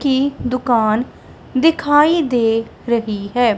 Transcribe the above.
की दुकान दिखाई दे रही है।